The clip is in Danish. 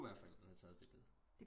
Det kunne være forældrene har taget billedet